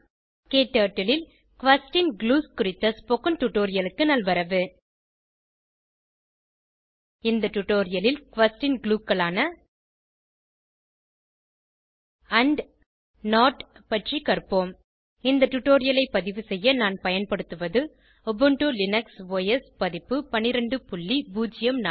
க்டர்ட்டில் ல் question glues குறித்த ஸ்போகன் டுடோரியலுக்கு நல்வரவு இந்த டுடோரியலில் குயஸ்ஷன் glueகளான ஆண்ட் நோட் பற்றி கற்போம் இந்த டுடோரியலைப் பதிவு செய்ய நான் பயன்படுத்துவது உபுண்டு லினக்ஸ் ஒஸ் பதிப்பு 1204